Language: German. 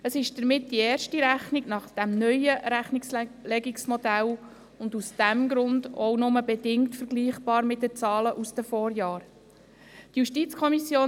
Es ist damit die erste Rechnung nach dem neuen Rechnungslegungsmodell und aus diesem Grund auch nur bedingt mit den Zahlen aus den Vorjahren vergleichbar.